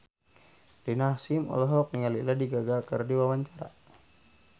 Rina Hasyim olohok ningali Lady Gaga keur diwawancara